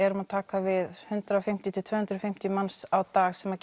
erum að taka við hundrað og fimmtíu til tvö hundruð og fimmtíu manns á dag sem